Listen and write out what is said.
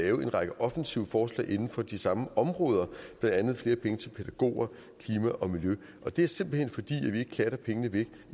en række offensive forslag inden for de samme områder blandt andet flere penge til pædagoger klima og miljø det er simpelt hen fordi vi ikke klatter pengene væk